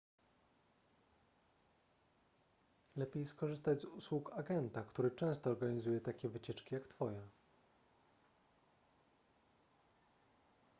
lepiej skorzystać z usług agenta który często organizuje takie wycieczki jak twoja